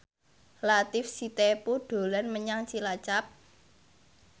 Latief Sitepu dolan menyang Cilacap